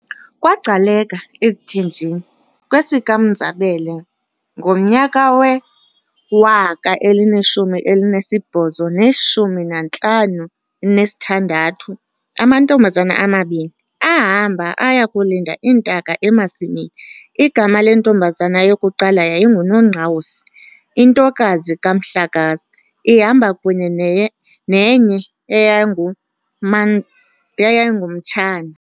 KwaGcaleka, eziThenjini, kwesikaMnzabele ngomnyaka we-1856, amantombazana amabini, aahamba aya kulinda iintaka emasimini, igama lentombazana yokuqala yayinguNongqawuse intokazi kaMhlakaza, ihamba kunye neye nenye eyayinguma eyayingumtshana.